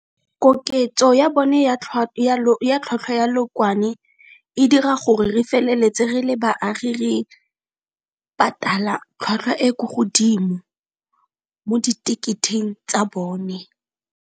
Koketso ya bone ya tlhwatlhwa ya leokwane e dira gore re feleletse re le baagi re patala tlhwatlhwa e ko godimo mo di teketeng tsa bone.